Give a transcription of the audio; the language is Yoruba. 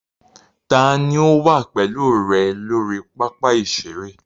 Ta ni ó wà pẹ̀lú rẹ lórí pápá ìṣeré?